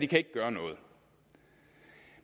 kan gøre noget